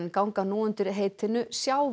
ganga nú undir heitinu